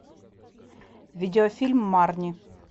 видеофильм марни